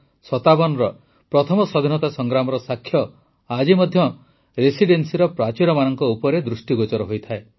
୧୮୫୭ର ପ୍ରଥମ ସ୍ୱାଧୀନତା ସଂଗ୍ରାମର ସାକ୍ଷ୍ୟ ଆଜି ମଧ୍ୟ ରେସିଡେନ୍ସିର ପ୍ରାଚୀରମାନଙ୍କ ଉପରେ ଦୃଷ୍ଟିଗୋଚର ହୋଇଥାଏ